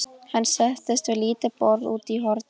Hann settist við lítið borð úti í horni.